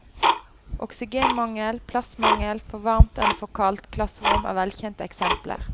Oksygenmangel, plassmangel, for varmt eller for kaldt klasserom er velkjente eksempler.